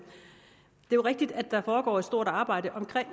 det er rigtigt at der foregår et stort arbejde omkring